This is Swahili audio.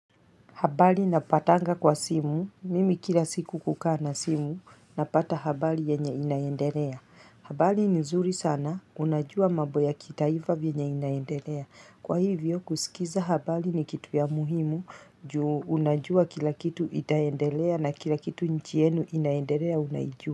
Habari napatanga kwa simu, mimi kila siku hukaa na simu, napata habari yenye inaendelea. Habari ni zuri sana, unajua mambo ya kitaifa vyenye inaendelea. Kwa hivyo, kusikiza habari ni kitu ya muhimu, juu unajua kila kitu itaendelea na kila kitu nchi yenu inaendelea unaijua.